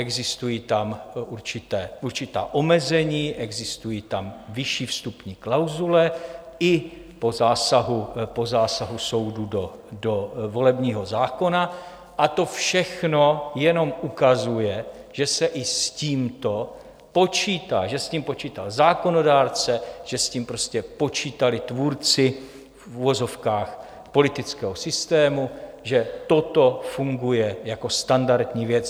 Existují tam určitá omezení, existují tam vyšší vstupní klauzule i po zásahu soudu do volebního zákona, a to všechno jenom ukazuje, že se i s tímto počítá, že s tím počítal zákonodárce, že s tím prostě počítali tvůrci v uvozovkách politického systému, že toto funguje jako standardní věc.